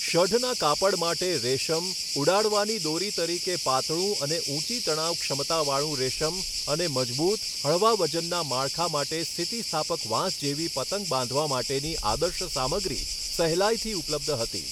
સઢના કાપડ માટે રેશમ, ઉડાડવાની દોરી તરીકે પાતળું અને ઊંચી તણાવ ક્ષમતાવાળું રેશમ, અને મજબૂત, હળવા વજનના માળખા માટે સ્થિતિસ્થાપક વાંસ જેવી પતંગ બાંધવા માટેની આદર્શ સામગ્રી સહેલાઈથી ઉપલબ્ધ હતી.